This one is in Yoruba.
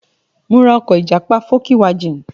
Mo ra ọkọ̀ ìjàpá fókíwajìn.